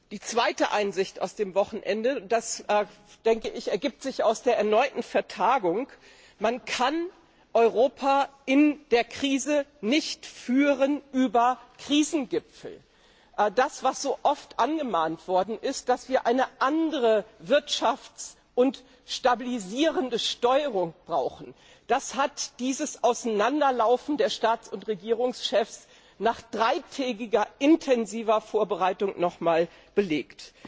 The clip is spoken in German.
Die zweite Einsicht aus dem Wochenende das ergibt sich aus der erneuten Vertagung Man kann Europa in der Krise nicht über Krisengipfel führen. Das, was so oft angemahnt worden ist, nämlich dass wir eine andere wirtschaftspolitische und stabilisierende Steuerung brauchen, wurde durch dieses Auseinanderlaufen der Staats und Regierungschefs nach dreitägiger intensiver Vorbereitung nochmals belegt.